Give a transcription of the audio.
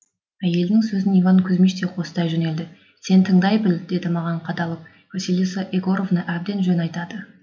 әйелінің сөзін иван кузмич те қостай жөнелді сен тыңдай біл деді маған қадалып василиса егоровна әбден жөн айтады